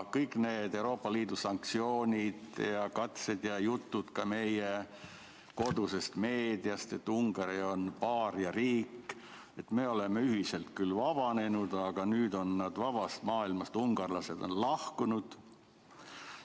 Kõik need Euroopa Liidu sanktsioonid ja katsed ja jutud ka meie kodusest meediast, et Ungari on paariariik, st me oleme küll ühiselt vabanenud, aga nüüd on ungarlased vabast maailmast lahkunud.